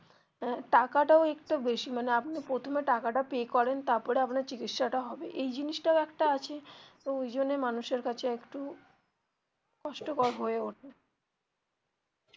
আহ টাকাটাও একটু বেশি মানে আপনি প্রথমে টাকাটা pay করেন তারপরে আপনার চিকিৎসা টা হবে এই জিনিসটাও একটা আছে ওই জন্য মানুষ এর কাছে একটু কষ্টকর হয়ে ওঠে